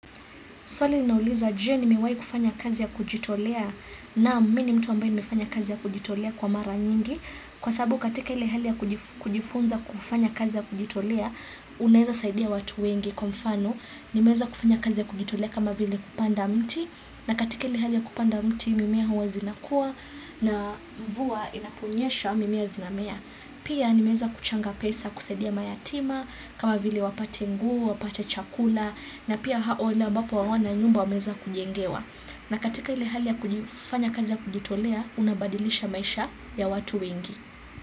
Swali ninauliza je nimewahi kufanya kazi ya kujitolea naam mimi ni mtu ambaye nimefanya kazi ya kujitolea kwa mara nyingi kwa sababu katika ile hali ya kujifunza kufanya kazi ya kujitolea unaweza saidia watu wengi kwa mfano nimeweza kufanya kazi ya kujitolea kama vile kupanda mti na katika ile hali ya kupanda mti mimea huwa zinakua na mvua inaponyesha mimea zinamea. Pia nimeweza kuchanga pesa kusaidia mayatima, kama vile wapate nguo, wapate chakula, na pia wale ambao hawana nyumba wameweza kujengewa. Na katika ile hali ya kufanya kazi ya kujitolea, unabadilisha maisha ya watu wengi.